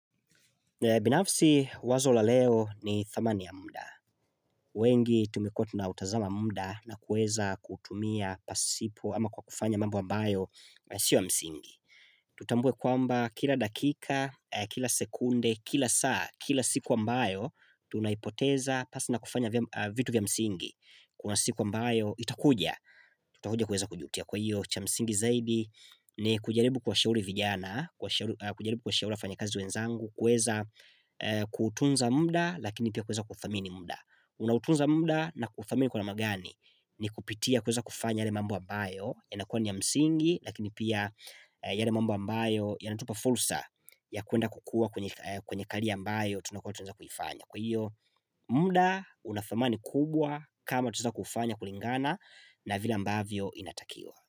Binafsi wazo la leo ni thamani ya muda. Wengi tumekua tunautazama muda na kueza kutumia pasipo ama kwa kufanya mambo ambayo yasio ya msingi. Tutambue kwamba kila dakika, kila sekunde, kila saa, kila siku ambayo, tunaipoteza pasi na kufanya vitu vya msingi. Kuna siku ambayo itakuja, tutakuja kueza kujutia kwa hiyo cha msingi zaidi ni kujaribu kuwashauri vijana, kujaribu kuwashauri wafanyikazi wenzangu kuweza kutunza muda Lakini pia kuweza kudhamini muda Unautunza muda na kufamini kwa ma gani ni kupitia kuweza kufanya yale mambo ambayo yanakuwa ni ya msingi Lakini pia yale mambo ambayo Yanatupa fursa ya kuenda kukua kwenye karia ambayo Tunakua tunaeza kuifanya Kwa hiyo muda unadhamani kubwa kama tunaeza kuufanya kulingana na vila ambavyo inatakiwa.